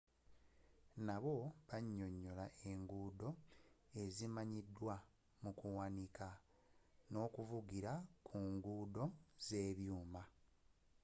nabbo banyonyola enguudo ezimanyidwa mukuwanika n'okuvugira ku nguudo z'ebyuuma